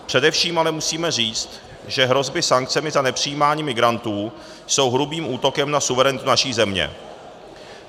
Především ale musíme říct, že hrozby sankcemi za nepřijímání migrantů jsou hrubým útokem na suverenitu naší země.